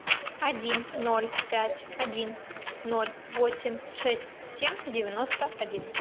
один ноль пять один ноль восемь шесть семь девяносто один